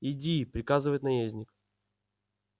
иди приказывает наездник